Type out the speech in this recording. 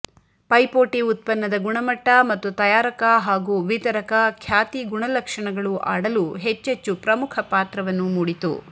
ಪೈಪೋಟಿ ಉತ್ಪನ್ನದ ಗುಣಮಟ್ಟ ಮತ್ತು ತಯಾರಕ ಹಾಗೂ ವಿತರಕ ಖ್ಯಾತಿ ಗುಣಲಕ್ಷಣಗಳು ಆಡಲು ಹೆಚ್ಚೆಚ್ಚು ಪ್ರಮುಖ ಪಾತ್ರವನ್ನು ಮೂಡಿತು